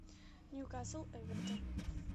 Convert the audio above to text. ньюкасл эвертон